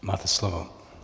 Máte slovo.